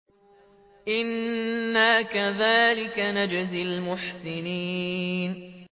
إِنَّا كَذَٰلِكَ نَجْزِي الْمُحْسِنِينَ